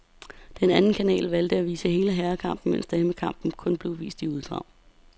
Den anden kanal valgte at vise hele herrekampen, mens damekampen kun blev vist i uddrag.